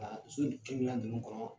Ka so nin ninnu kɔnɔ